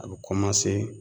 A be kɔmanse